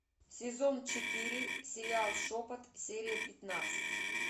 сезон четыре сериал шепот серия пятнадцать